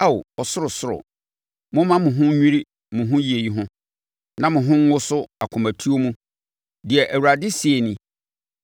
Ao ɔsorosoro, momma mo ho nnwiri mo yei ho, na mo ho nwoso akomatuo mu,” deɛ Awurade seɛ nie.